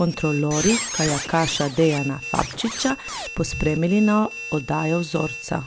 kontrolorji kajakaša Dejana Fabčiča pospremili na oddajo vzorca.